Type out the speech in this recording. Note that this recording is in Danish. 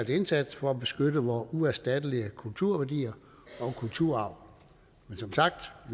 indsats for at beskytte vore uerstattelige kulturværdier og kulturarv som sagt